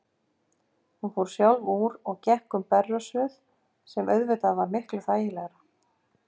Hún fór sjálf úr og gekk um berrössuð, sem var auðvitað miklu þægilegra.